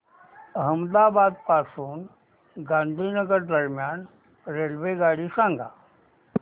अहमदाबाद पासून गांधीनगर दरम्यान रेल्वेगाडी सांगा